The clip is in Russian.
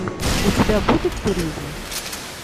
у тебя будет туризм